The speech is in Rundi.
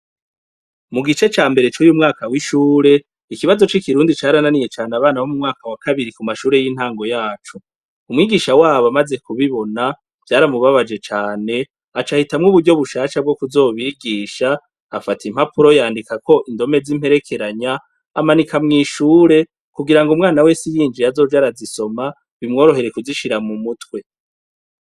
Mugice cambere cuy'umwaka w'ishure ikibazo c'ikirundi carananiye cane abanyeshure bo mumwaka wa kabiri kumashure yintango yaco, umwigisha wabo amaze kubibona vyaramubabaje cane aca ahitamwo uburyo bushasha bwo kuzobigisha afata impapuro yandikako indome z'imperekeranya amanika mw'ishure kugirango umwana Wese yinjiye azoze arazisoma bimworohere kuzishira m'umutwe.